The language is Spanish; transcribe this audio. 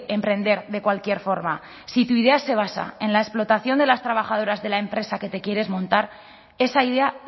emprender de cualquier forma si tu idea se basa en la explotación de las trabajadoras de la empresa que te quieres montar esa idea